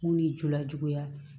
Mun ni jola juguya